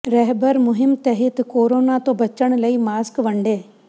ਰਹਿਬਰ ਮੁਹਿੰਮ ਤਹਿਤ ਕੋਰੋਨਾ ਤੋਂ ਬਚਣ ਲਈ ਮਾਸਕ ਵੰਡੇ